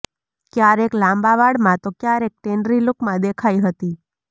ક્યારેક લાંબા વાળમાં તો ક્યારેક ટ્રેન્ડી લુકમાં દેખાઈ હતી